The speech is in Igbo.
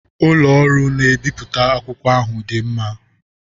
Ụlọ ọrụ na-ebipụta akwụkwọ ahụ dị mma.